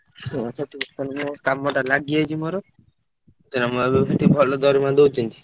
କାମ ଟା ଲାଗି ଯାଇଛି ମୋର ଭଲ ଦରମା ଦଉଛନ୍ତି।